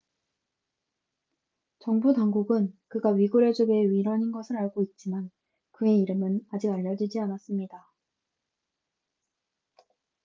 정부 당국은 그가 위구르족의 일원인 것을 알고 있지만 그의 이름은 아직 알려지지 않았습니다